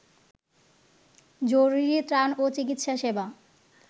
জরুরী ত্রাণ ও চিকিৎসা সেবা